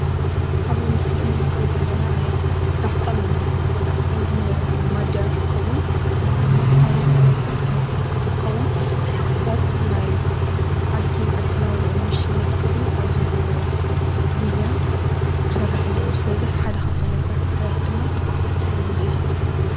ኣብ ምስሊ እንምልከቶ ዘለና ናይ ናፍጣ መምልኢ ወይ ካዓ ናይ ቤንዚን መምልኢ ማድያ እንትኸውን እዚ ድማ ሓደ ካብ ናይ ስራሕ ቦታታት ሓደ እንትኸውን ሰብ ኣብ ናይ ማዓልቲ ማዓልቲ ናብራኡ ንምሽናፍ ክብል ኣብ ዝገብሮ ጉያ ክሰርሕ ኣለዎ። ስለዚ ሓደ ካብቶም ናይ ስራሕ ቦታታት ድማ ናፍጣ መምልኢ እዩ።